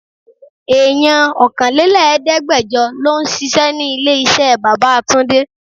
Èèyàn ọkànlẹ́lẹ̀ẹ́degbẹjọ lọ ń ṣíṣe ní ilé iṣẹ́ bàbá túndé.